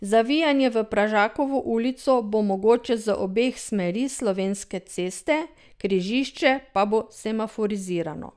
Zavijanje v Pražakovo ulico bo mogoče z obeh smeri Slovenske ceste, križišče pa bo semaforizirano.